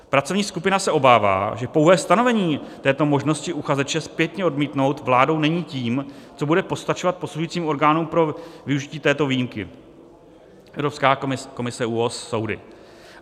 Pracovní skupina se obává, že pouhé stanovení této možnosti uchazeče zpětně odmítnout vládou není tím, co bude postačovat posuzujícím orgánům pro využití této výjimky - Evropská komise, ÚOHS, soudy.